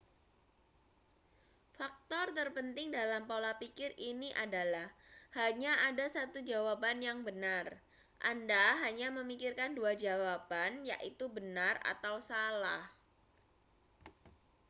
faktor terpenting dalam pola pikir ini adalah hanya ada satu jawaban yang benar anda hanya memikirkan dua jawaban yaitu benar atau salah